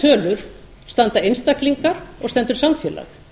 við þessar tölur standa einstaklingar og stendur samfélag